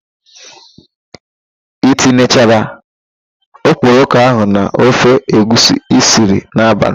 I tinyechara okporoko ahụ n'ofe egwusi i siri n'abalị?